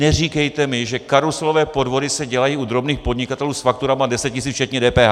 Neříkejte mi, že karuselové podvody se dělají u drobných podnikatelů s fakturami 10 tisíc včetně DPH.